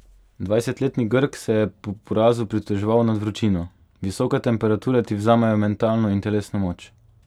Dvajsetletni Grk se je po porazu pritoževal nad vročino: "Visoke temperature ti vzamejo mentalno in telesno moč.